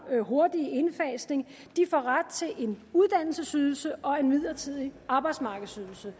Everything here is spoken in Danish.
hurtige indfasning får ret til en uddannelsesydelse og en midlertidig arbejdsmarkedsydelse